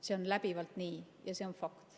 See on läbivalt nii ja see on fakt.